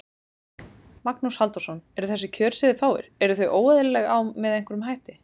Magnús Halldórsson: Eru þessi kjör sem þið fáið, eru þau óeðlileg á, með einhverjum hætti?